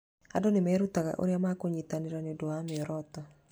Andũ nĩ merutaga ũrĩa mangĩnyitanĩra nĩ ũndũ wa mĩoroto.